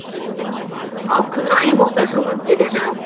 ал күн райы болса жылынып келеді